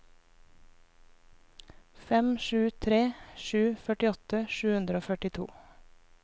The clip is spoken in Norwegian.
fem sju tre sju førtiåtte sju hundre og førtito